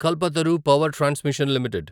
Kalpataru power transmission limited